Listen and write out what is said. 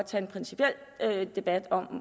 tage en principiel debat om